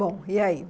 Bom, e aí?